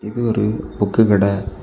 இது ஒரு புக்கு கடெ.